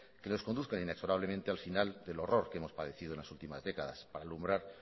que nos conduzcan inexorablemente al final del horror que hemos padecido en las últimas décadas para alumbrar